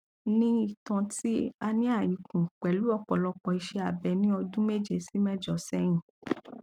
ni ìtàn ti hernia ikùn pẹlú òpọlọpọ ise abe ní ọdún méje sí méjọ sẹyìn